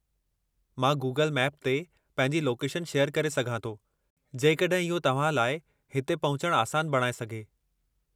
मां Google map ते पंहिंजी लोकेशन शेयरु करे सघां थो जेकॾहिं इहो तव्हां लाइ हिते पहुचण आसान बणाए सघे।